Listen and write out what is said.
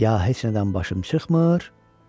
Ya heç nədən başım çıxmır, dedi,